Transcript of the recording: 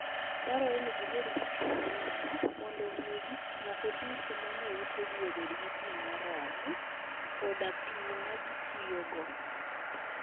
Dwarore ni gibed gi pi moromo, mondo omi gik moko duto manie utegi obed gi pi moromo, koda pi ma gitiyogo.